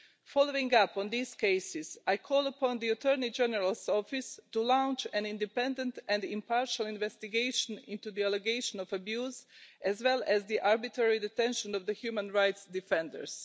Following up on these cases, I call upon the Attorney General's Office to launch an independent and impartial investigation into the allegation of abuse, as well as the arbitrary detention of the human rights defenders.